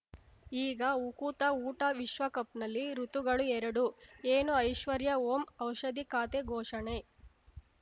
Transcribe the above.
ಈಗ ಉಕುತ ಊಟ ವಿಶ್ವಕಪ್‌ನಲ್ಲಿ ಋತುಗಳು ಎರಡು ಏನು ಐಶ್ವರ್ಯಾ ಓಂ ಔಷಧಿ ಖಾತೆ ಘೋಷಣೆ